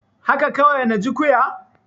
Haka kawai na ji ƙyuya.